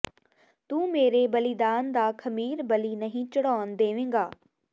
ਤੂੰ ਮੇਰੇ ਬਲੀਦਾਨ ਦਾ ਖਮੀਰ ਬਲੀ ਨਹੀਂ ਚੜ੍ਹਾਉਣ ਦੇਵੇਂਗਾ